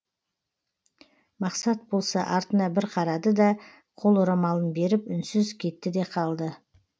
мақсат болса артына бір қарады да қол орамалын беріп үнсіз кетті де қалды